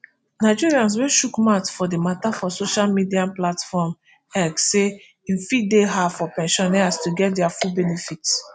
nigerians wey chook mouth for di mata for social media platform x say e fit deyhard for pensioners to get dia full benefits